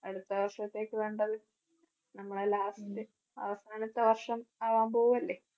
അടുത്ത വർഷത്തേയ്ക്ക് വേണ്ടത് നമ്മുടെ last അവസാനത്തെ വർഷം ആകാൻ പോകുവല്ലേ?